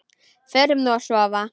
Förum nú að sofa.